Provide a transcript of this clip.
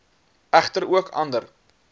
egter ook ander